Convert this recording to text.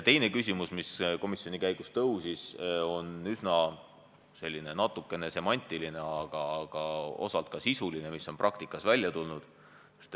Teine küsimus, mis komisjoni arutelu käigus tõstatus, on natuke semantiline, aga osalt ka sisuline ja puudutab seda, mis on praktikas välja tulnud.